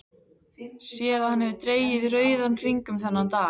Sér að hann hefur dregið rauðan hring um þennan dag.